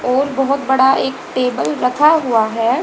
और बहोत बड़ा एक टेबल रखा हुआ है।